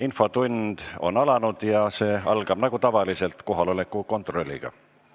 Infotund on alanud ja see algab nagu tavaliselt kohaloleku kontrolliga.